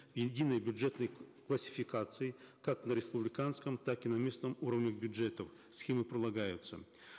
и единой бюджетной классификации как на республиканском так и на местном уровне бюджетов схема прилагается